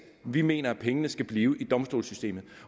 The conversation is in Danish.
vi mener at pengene skal blive i domstolssystemet